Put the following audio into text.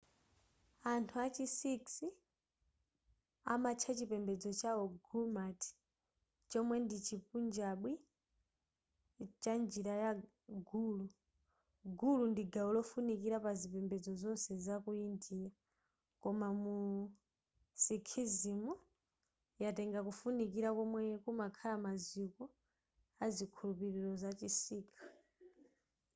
anthu a chi sikhs amatcha chipembedzo chawo gurmat chomwe ndi chipunjabi cha njira ya guru guru ndi gawo lofunikira pazipembedzo zonse zaku india koma mu sikhism yatenga kufunikira komwe kumakhala maziko azikhulupiriro zachi sikh